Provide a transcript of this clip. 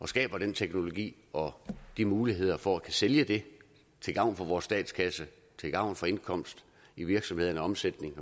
skaber den teknologi og de muligheder for at sælge det til gavn for vores statskasse til gavn for indkomst i virksomhederne og omsætningen